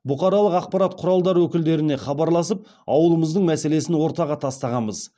бұқаралық ақпарат құралдар өкілдеріне хабарласып ауылымыздың мәселесін ортаға тастағанбыз